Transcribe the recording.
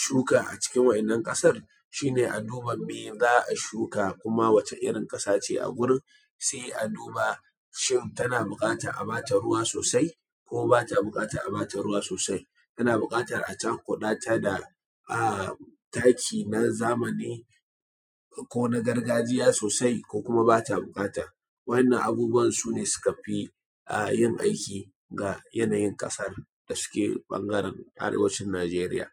shuka a cikin wa'innan ƙasar shi ne a duba mai za a shuka, kuma wata irin ƙasa ce a gurin, sai a duba shin tana buƙatan a bata ruwa sosai, ko ba ta buƙatan a bata ruwa sosai. Tana buƙatan a cakuɗata da taki na zamani ko na gargajiya sosai ko kuma bata buƙata. wa'innan abubuwa sune suka fi yin aikin ga yanayin ƙasar da suke ɓangare arewacin Najeriya.